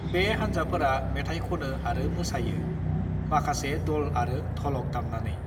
"बे हान्जाफोरा मेथाइ खनो आरो मोसायो, माखासे दल आरो ध'लक दामनानै।"